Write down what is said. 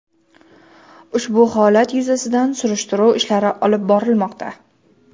Ushbu holat yuzasidan surishtiruv ishlari olib borilmoqda.